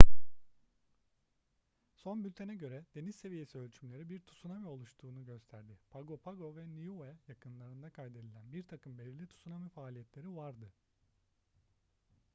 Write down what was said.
son bültene göre deniz seviyesi ölçümleri bir tsunami oluştuğunu gösterdi pago pago ve niue yakınlarında kaydedilen birtakım belirli tsunami faaliyetleri vardı